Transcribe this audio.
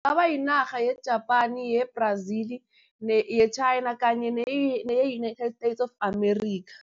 Kungaba yinarha ye-Japani, ye-Brazil ye-China kanye neye-United States of America.